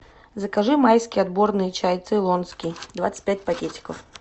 закажи майский отборный чай цейлонский двадцать пять пакетиков